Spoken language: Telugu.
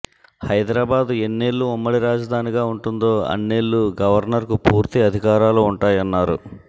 హైదరాబాద్ ఎన్నేళ్లు ఉమ్మడి రాజధానిగా ఉంటుందో అన్నేళ్లు గవర్నర్కు పూర్తి అధికారాలు ఉంటాయన్నారు